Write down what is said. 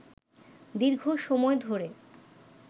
দীর্ঘ সময় ধরে